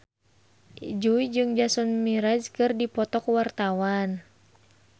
Jui jeung Jason Mraz keur dipoto ku wartawan